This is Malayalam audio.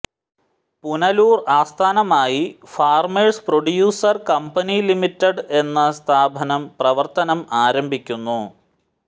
പുനലൂർ ആസ്ഥാനമായി ഫാർമേഴ്സ് പ്രൊഡ്യൂസർ കമ്പനി ലിമിറ്റഡ് എന്ന സ്ഥാപനം പ്രവർത്തനം ആരംഭിക്കുന്നു